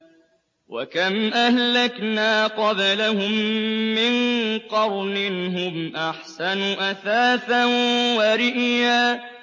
وَكَمْ أَهْلَكْنَا قَبْلَهُم مِّن قَرْنٍ هُمْ أَحْسَنُ أَثَاثًا وَرِئْيًا